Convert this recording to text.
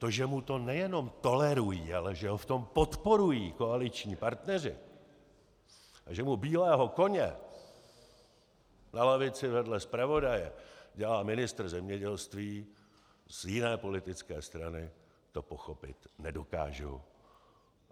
To, že mu to nejenom tolerují, ale že ho v tom podporují koaliční partneři a že mu bílého koně na lavici vedle zpravodaje dělá ministr zemědělství z jiné politické strany, to pochopit nedokážu.